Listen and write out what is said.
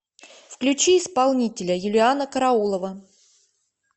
включи исполнителя юлианна караулова